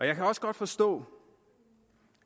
jeg kan også godt forstå